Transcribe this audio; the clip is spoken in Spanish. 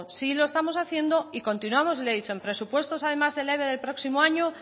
sí lo estamos haciendo y continuamos le he dicho en presupuestos del eve del próximo año